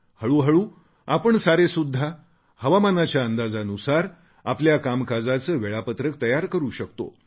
हळुहळू आपण सारेसुद्धा हवामानाच्या अंदाजानुसार आपल्या कामकाजाचे वेळापत्रक तयार करू शकतो